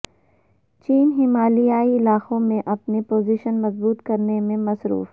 چین ہمالیائی علاقوں میں اپنی پوزیشن مضبوط کر نے میں مصروف